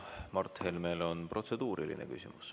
Mart Helmel on protseduuriline küsimus.